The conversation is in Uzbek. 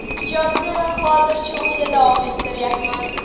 Ijodni hozircha uyda davom ettiryapman”.